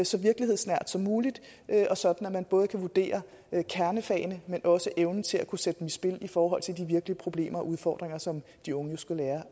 så virkelighedsnært som muligt sådan at man både kan vurdere kernefagene men også evnen til at kunne sætte dem i spil i forhold til de virkelige problemer og udfordringer som de unge jo skal lære